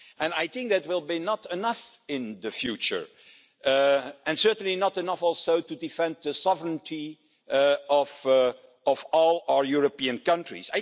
on. I think that will be not enough in the future and certainly not enough also to defend the sovereignty of all our European countries.